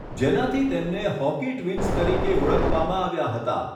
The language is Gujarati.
જેનાથી તેમને 'હોકી ટ્વિન્સ' તરીકે ઓળખવામાં આવ્યા હતા.